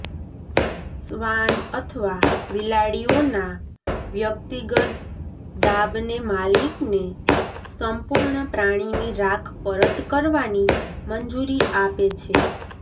શ્વાન અથવા બિલાડીઓના વ્યક્તિગત દાબને માલિકને સંપૂર્ણ પ્રાણીની રાખ પરત કરવાની મંજૂરી આપે છે